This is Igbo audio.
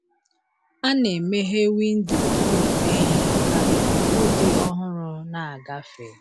A na-emeghe windo ụlọ ehi ka ikuku dị ọhụrụ na-agafe.